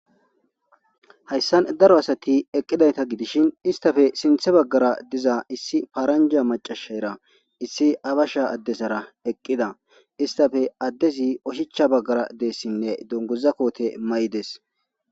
hayssan daro asati eqqidayta gidishin istafe sinthe baggara diza issi paaranja macashayra issi abasha addesara eqqida istafe addezi oshicha baggara deessinne donguzakoote may7des